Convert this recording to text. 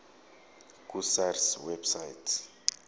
ku sars website